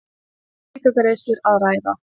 Ekki um aukagreiðslur að ræða